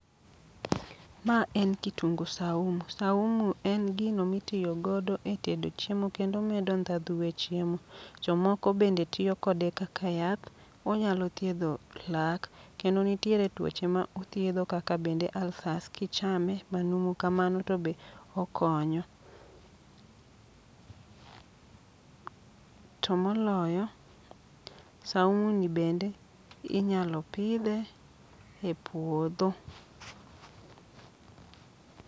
Ma en kitungu saumu, saumu en gino mitiyo godo e tedo chiemo kendo omedo ndhadhu e chiemo. Jomoko bende tiyo kode kaka yath, onyalo thiedho lak. Kendo nitiere tuoche ma othiedho kaka bende alsas, kichame ma numu kamano to be okonyo. To moloyo, saumu ni bende inyalo pidhe e puodho.